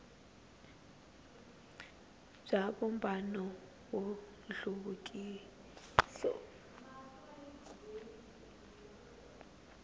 bya vumbano wa nhluvukiso a